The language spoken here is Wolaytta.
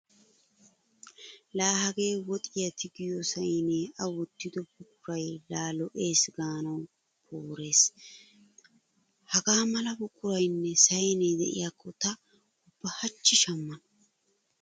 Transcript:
Laa hagee woxiya tigiyo sayneenne A wottido buquray laa lo'eesi gaanawu porees! Hagaa mala buquraynne saynee de'iyakko ta ubba hachchi shammana.